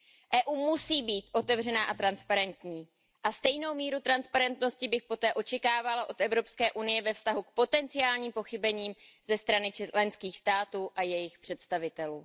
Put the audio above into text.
Evropská unie musí být otevřená a transparentní a stejnou míru transparentnosti bych poté očekávala od Evropské unie ve vztahu k potenciálním pochybením ze strany členských států a jejich představitelů.